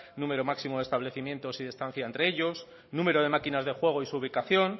número máximo de establecimientos y distancia entre ellos número de máquinas de juego y su ubicación